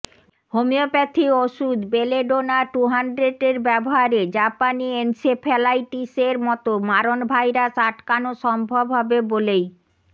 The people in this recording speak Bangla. হোমিওপ্যাথি ওষুধ বেলেডোনা টু হান্ড্রেটের ব্যবহারে জাপানি এনসেফালাইটিসের মতো মারণ ভাইরাস আটকানো সম্ভব হবে বলেই